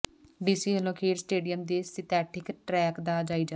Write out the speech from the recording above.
DC ਵੱਲੋਂ ਖੇਡ stadium ਦੇ ਸਿੰਥੈਟਿਕ ਟਰੈਕ ਦਾ ਜਾਇਜ਼ਾ